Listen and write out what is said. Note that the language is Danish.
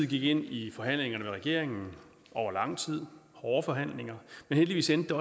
gik ind i forhandlinger med regeringen over lang tid hårde forhandlinger men heldigvis endte det